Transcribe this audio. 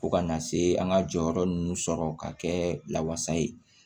Fo kana se an ka jɔyɔrɔ ninnu sɔrɔ ka kɛ lawasa ye